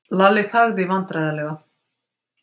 Lalli þagði vandræðalega.